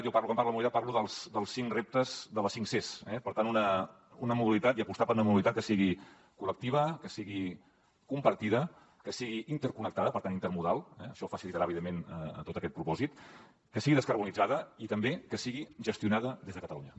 jo quan parlo de la mobilitat parlo dels cinc reptes de les cinc ces eh per tant una mobilitat i apostar per una mobilitat que sigui col·lectiva que sigui compartida que sigui interconnectada per tant intermodal això facilitarà evidentment tot aquest propòsit que sigui descarbonitzada i també que sigui gestionada des de catalunya